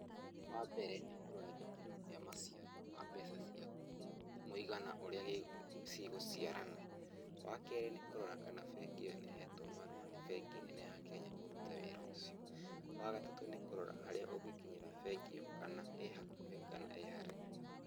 Wa mbere nĩ kũrora gĩkĩro kĩa maciaro ma mbeca ciaku, mũigana ũrĩa gĩgũ cigũciarana. Wa keerĩ nĩ kũrora kana bengi ĩyo nĩhetwo marũa nĩ bengi nene ya Kenya kũruta wĩra ũcio. Wa gatatũ nĩ kũrora harĩa ũngĩkinyĩra bengi ĩyo, kana ĩ hakuhĩ kana ĩ haraihu.